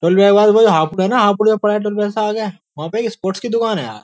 Twelve के बाद भाई हाफ डे न हाफ डे आगए वहापे ये स्पोर्ट्स की दुखान है यार।